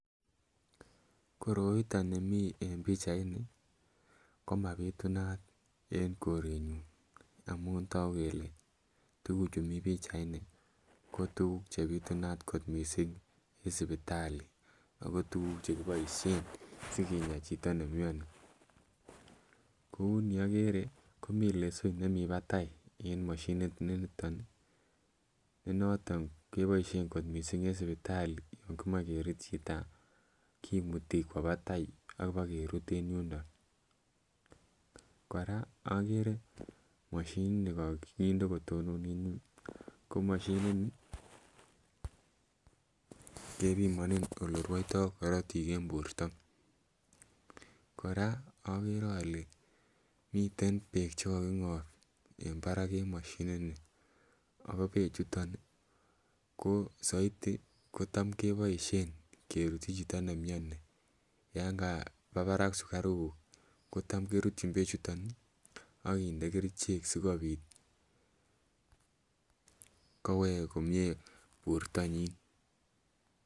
Koroiteni mi eng pichaini komapitunat eng korenyun, amun toku kele tukuchu mi pichaini ko tukuk chebitunat kot mising eng sipitali ako tukuk chekiboisyen sikiny chito nenyoni ,kouni agere komi lesoit nemi batai eng mshinit nenoton mising keboisyen eng sipitali komay kerut chito kaimutik kwo batai akobakerut eng yundo , koraa agere mshinit nekakinde kotonon eng yun ko mashinini kebimanin elerwoyto korotik eng borta, koraa agere ale miten bek chekakingap eng barak eng mashini nii ako bek chuton ko saiti kotam keboisyen kerutyi chito nemnyoni yan kaba barak sikaruk kotam kerutyin bek chuton sikobit kowek komnye bortonyin.